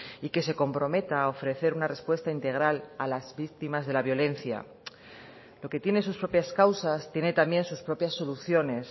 y que se comprometa a ofrecer una respuesta integral a las víctimas de la violencia lo que tiene sus propias causas tiene también sus propias soluciones